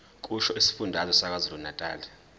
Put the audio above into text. kusho isifundazwe sakwazulunatali